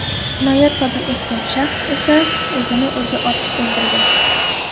Jinoyat sodir etgan shaxs esa o‘zini o‘zi otib o‘ldirgan.